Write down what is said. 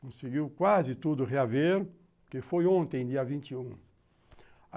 Conseguiu quase tudo reaver, que foi ontem, dia vinte e um.